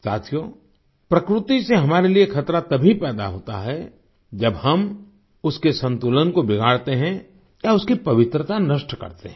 साथियो प्रकृति से हमारे लिये खतरा तभी पैदा होता है जब हम उसके संतुलन को बिगाड़ते हैं या उसकी पवित्रता नष्ट करते हैं